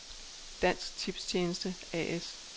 Dansk Tipstjeneste A/S